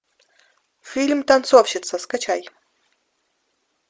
фильм танцовщица скачай